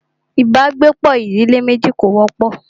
ibàgbepọ̀ ìdílé méjì kò wọ́pọ̀.